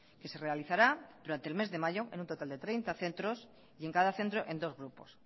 que se realizará durante el mes de mayo en un total de treinta centros y en cada centro en dos grupos